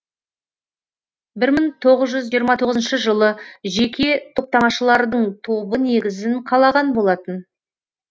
бір мың тоғыз жүз жиырма тоғызыншы жылы жеке топтамашылардың тобы негізін қалаған болатын